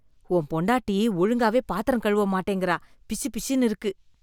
உன் பொண்டாட்டி ஒழுங்காவே பாத்திரம் கழுவ மாட்டிங்கறா. பிசுபிசுன்னு இருக்கு.